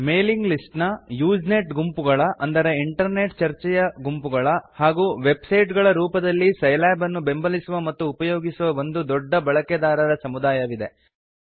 mailing list Usenet ಗುಂಪುಗಳು internet ಚರ್ಚೆಯ ಗುಂಪುಗಳು ವೆಬ್ಸೈಟ್ಗಳ ರೂಪದಲ್ಲಿ ಸೈಲ್ಯಾಬ್ ಅನ್ನು ಬೆಂಬಲಿಸುವ ಮತ್ತು ಉಪಯೋಗಿಸುವ ಒಂದು ದೊಡ್ಡ ಬಳಾಕೆದಾರರ ಸಮುದಾಯವಿದೆ